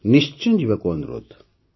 ନିଶ୍ଚୟ ଯିବାକୁ ଅନୁରୋଧ